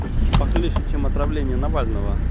то есть похлеще чем отравление навального